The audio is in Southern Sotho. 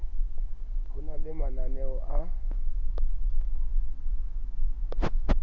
ho na le mananeo a